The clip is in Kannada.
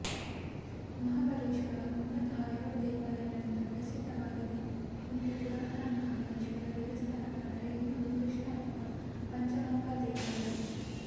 ಮಹಾಬಲೇಶ್ವರ ಮುಲತಃ ಎರಡು ದೇವಾಲಯಗಳಿಗೆ ಪ್ರಸಿದ್ಧವಾಗಿದೆ ಒಂದು ಪುರಾತನ ಮಹಾಬಲೇಶ್ವರ ದೇವಸ್ಥಾನವಾದರೆ ಇನ್ನೊಂದು ಕೃಷ್ಣ ಅಥವಾ ಪಂಚಗಂಗಾ ದೇವಾಲಯ